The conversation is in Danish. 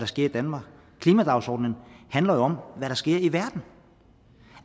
sker i danmark klimadagsordenen handler jo om hvad der sker i verden